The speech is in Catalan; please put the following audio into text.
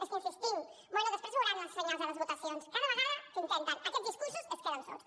és que hi insistim bé després veuran els senyals de les votacions cada vegada que intenten aquests discursos es queden sols